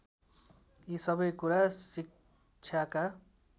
यी सबै कुरा शिक्षाका